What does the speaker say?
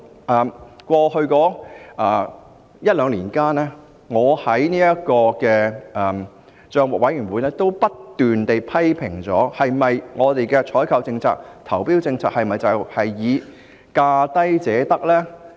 在過往一兩年，我也在政府帳目委員會不斷提出批評，究竟我們的採購政策和投標政策是否只以價低者得作為原則呢？